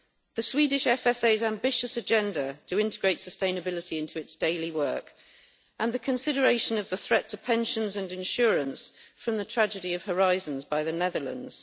the Swedish FSA's ambitious agenda to integrate sustainability into its daily work, and the consideration of the threat to pensions and insurance from the tragedy of horizons by the Netherlands.